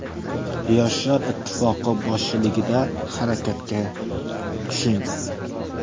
Yoshlar ittifoqi boshchiligida harakatga tushing.